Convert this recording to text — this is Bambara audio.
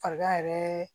Farigan yɛrɛ